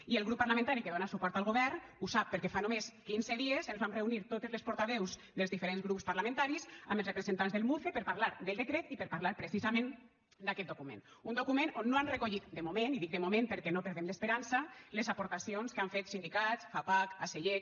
i el grup parlamentari que dona suport al govern ho sap perquè fa només quinze dies ens vam reunir totes les portaveus dels diferents grups parlamentaris amb els representants del muce per parlar del decret i per parlar precisament d’aquest document un document on no han recollit de moment i dic de moment perquè no perdem l’esperança les aportacions que han fet sindicats fapac acellec